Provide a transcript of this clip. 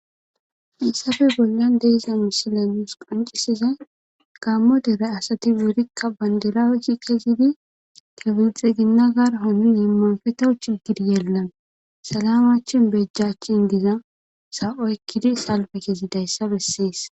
Issafe bollan deeza musilamuus qancisiza gammo dere asati worikka bandilaaweti kezidi kebilxe ginna gar hom yemmanfetochi gidiyeelnan salamachin bejjach in diza sa'oykkidi salbe kezi dayssa bessies.